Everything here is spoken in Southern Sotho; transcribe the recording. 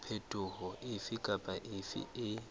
phetoho efe kapa efe e